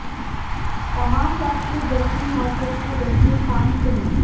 تمام وقت کے بہترین اور سب سے بہترین ٹانک فلمیں